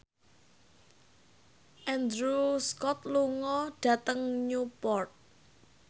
Andrew Scott lunga dhateng Newport